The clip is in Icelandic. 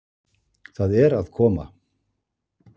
Það er að koma